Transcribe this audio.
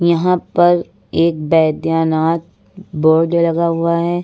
यहां पर एक वैद्यनाथ बोर्ड लगा हुआ है।